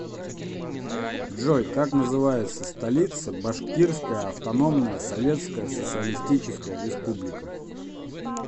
джой как называется столица башкирская автономная советская социалистическая республика